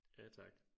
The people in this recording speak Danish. Ja tak